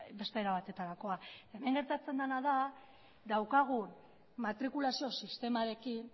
beste era batetarakoa hemen gertatzen dena da daukagun matrikulazio sistemarekin